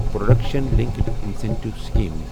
production linked incentive scheme P L I